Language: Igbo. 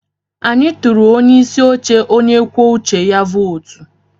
Anyị tụụrụ onye isi oche onye kwuo uche ya vootu.